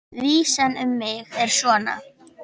Vísan um mig er svona